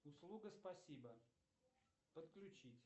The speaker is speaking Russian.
услуга спасибо подключить